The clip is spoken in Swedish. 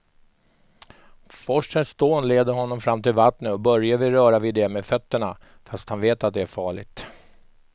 Forsens dån leder honom fram till vattnet och Börje vill röra vid det med fötterna, fast han vet att det är farligt.